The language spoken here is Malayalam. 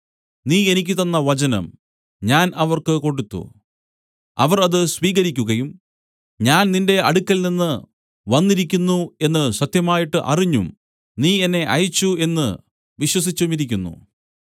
നീ എനിക്ക് തന്ന വചനം ഞാൻ അവർക്ക് കൊടുത്തു അവർ അത് സ്വീകരിക്കുകയും ഞാൻ നിന്റെ അടുക്കൽനിന്ന് വന്നിരിക്കുന്നു എന്നു സത്യമായിട്ട് അറിഞ്ഞും നീ എന്നെ അയച്ചു എന്നു വിശ്വസിച്ചുമിരിക്കുന്നു